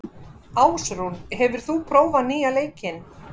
Ásrún, hefur þú prófað nýja leikinn?